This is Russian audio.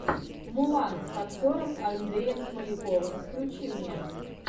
мулан с актером андреем смоляковым включи мне